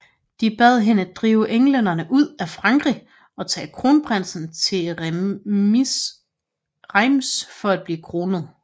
De bad hende drive englænderne ud af Frankrig og tage kronprinsen til Reims for at blive kronet